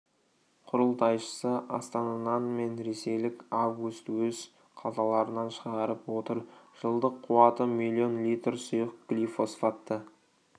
құрылтайшысы астана-нан мен ресейлік август өз қалталарынан шығарып отыр жылдық қуаты миллион литр сұйық глифосфатты